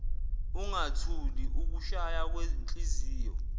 ungathuli ukushaya kwenhliziyo